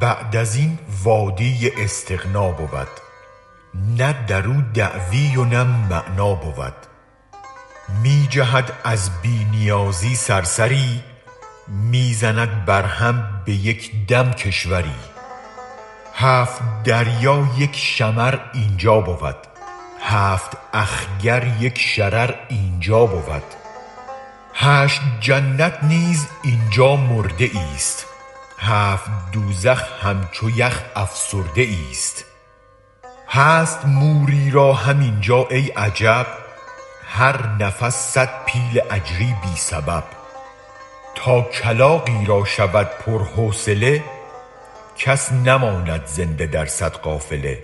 بعد ازین وادی استغنا بود نه درو دعوی و نه معنی بود می جهد از بی نیازی صرصری می زند بر هم به یک دم کشوری هفت دریا یک شمر اینجا بود هفت اخگر یک شرر اینجا بود هشت جنت نیز اینجا مرده ایست هفت دوزخ همچو یخ افسرده ایست هست موری را هم اینجا ای عجب هر نفس صد پیل اجری بی سبب تا کلاغی را شود پر حوصله کس نماند زنده در صد قافله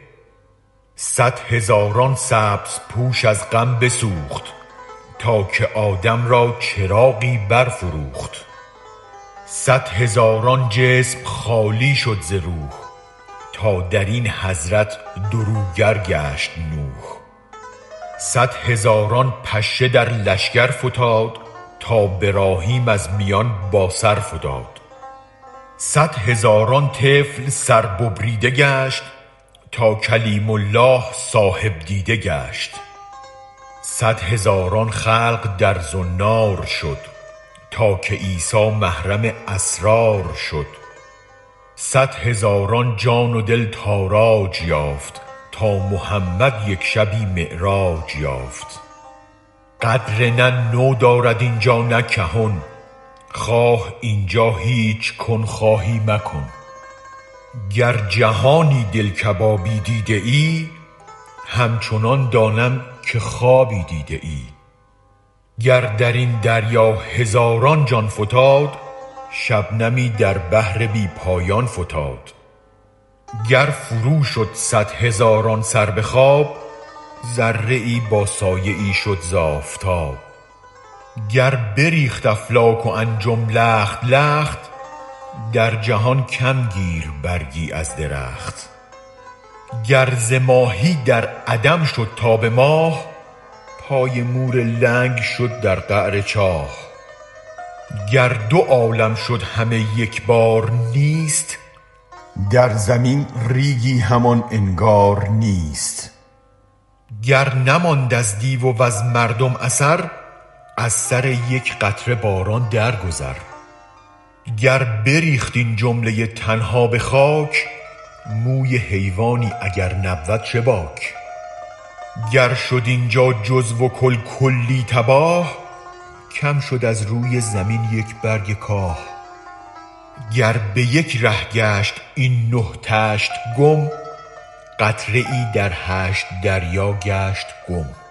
صد هزاران سبز پوش از غم بسوخت تا که آدم را چراغی برفروخت صد هزاران جسم خالی شد ز روح تا درین حضرت دروگر گشت نوح صد هزاران پشه در لشگر فتاد تا براهیم از میان با سرفتاد صد هزاران طفل سر ببریده گشت تا کلیم الله صاحب دیده گشت صد هزاران خلق در زنار شد تا که عیسی محرم اسرار شد صد هزاران جان و دل تاراج یافت تا محمد یک شبی معراج یافت قدر نه نو دارد اینجا نه کهن خواه اینجا هیچ کن خواهی مکن گر جهانی دل کبابی دیده ای همچنان دانم که خوابی دیده ای گر درین دریا هزاران جان فتاد شبنمی در بحر بی پایان فتاد گر فرو شد صد هزاران سر بخواب ذره ای با سایه ای شد ز آفتاب گر بریخت افلاک و انجم لخت لخت در جهان کم گیر برگی از درخت گر ز ماهی در عدم شد تا به ماه پای مور لنگ شد در قعر چاه گر دو عالم شد همه یک بارنیست در زمین ریگی همان انگار نیست گر نماند از دیو وز مردم اثر از سر یک قطره باران در گذر گر بریخت این جمله تن ها به خاک موی حیوانی اگر نبود چه باک گر شد اینجا جزو و کل کلی تباه کم شد از روی زمین یک برگ کاه گر به یک ره گشت این نه طشت گم قطره ای در هشت دریا گشت گم